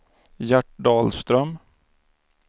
Gert Dahlström